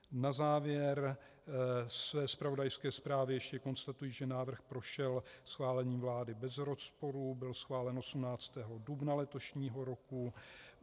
Na závěr své zpravodajské zprávy ještě konstatuji, že návrh prošel schválením vlády bez rozporů, byl schválen 18. dubna letošního roku.